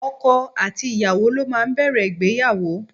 Ọkọ àti ìyàwó ló máa ń bẹ̀rẹ̀ ìgbéyàwó.